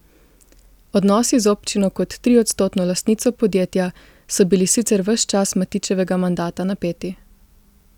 Odnosi z občino kot triodstotno lastnico podjetja so bili sicer ves čas Matićevega mandata napeti.